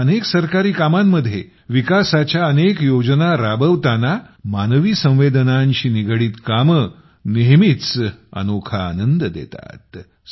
मात्र अनेक सरकारी कामांमध्ये विकासाच्या अनेक योजना राबविताना मानवी संवेदनांशी निगडित कामे नेहमीच अनोखा आनंद देतात